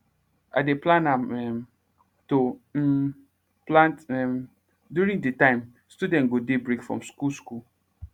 i dey plan am um to um plant um during de time student go dey break from school school